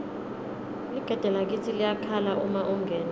ligede lakitsi liyakhala uma ungena